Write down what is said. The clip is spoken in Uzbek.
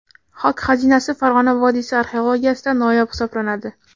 Xok xazinasi Farg‘ona vodiysi arxeologiyasida noyob hisoblanadi.